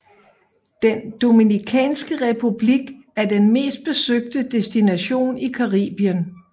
Den Dominikanske Republik er den mest besøgte destination i Caribien